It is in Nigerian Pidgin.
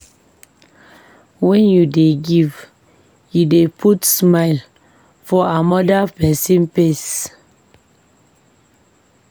Wen you dey give, you dey put smile for amoda pesin face.